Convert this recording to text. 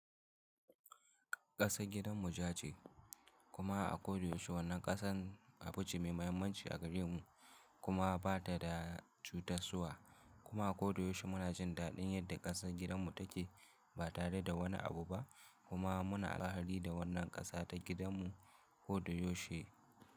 Ƙasan gidan mu ja ce kuma a kodayaushe wannan ƙasan a fuji mai mahimmanci a gare mu kuma ba ta da cutaswa kuma a kodayaushe muna jin daɗin yadda ƙasan gidan mu take ba tare da wani abu ba kuma muna alheri da wannan ƙasa ta gidan mu kodayaushe.